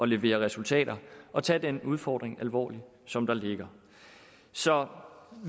levere resultater og tage den udfordring alvorligt som der ligger så